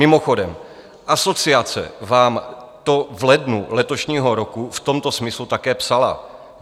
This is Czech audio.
Mimochodem, asociace vám to v lednu letošního roku v tomto smyslu také psala.